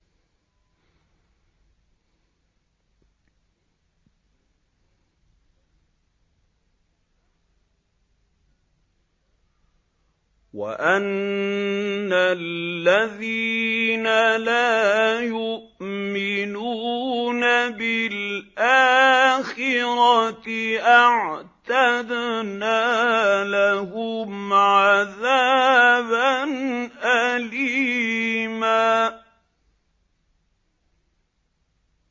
وَأَنَّ الَّذِينَ لَا يُؤْمِنُونَ بِالْآخِرَةِ أَعْتَدْنَا لَهُمْ عَذَابًا أَلِيمًا